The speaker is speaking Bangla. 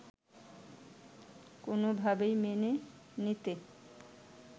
কোনোভাবেই মেনে নিতে